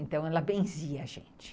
Então, ela benzia a gente.